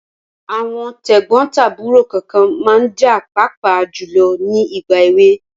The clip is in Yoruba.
Àwọn tẹ̀gbọ́n tàbúrò kànkan ma ń jà pàápàá jùlọ ní ìgbà èwe.